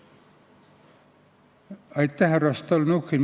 Aitäh, härra Stalnuhhin!